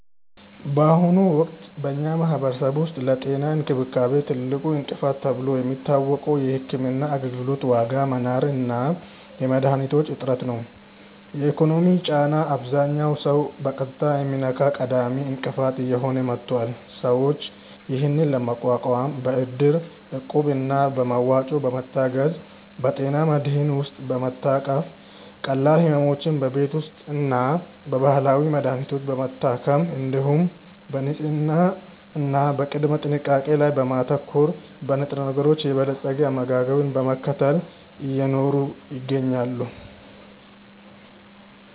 በአሁኑ ወቅት በኛ ማህበረሰብ ውስጥ ለጤና እንክብካቤ ትልቁ እንቅፋት ተብሎ የሚታወቀው የሕክምና አገልግሎት ዋጋ መናር እና የመድኃኒቶች እጥረት ነው። የኢኮኖሚው ጫና አብዛኛውን ሰው በቀጥታ የሚነካ ቀዳሚ እንቅፋት እየሆነ መጥቷል። ሰዎች ይህንን ለመቋቋም በእድር፣ እቁብ እና በመዋጮ በመታገዝ፣ በጤና መድህን ውስጥ በመታቀፍ፣ ቀላል ሕመሞችን በቤት ውስጥና በባህላዊ መድሀኒቶች በመታከም፣ እንዲሁም በንጽህና እና በቅድመ ጥንቃቄ ላይ በማተኮር፣ በንጥረነገሮች የበለፀገ አመጋገብን በመከተል እየኖሩ ይገኛሉ።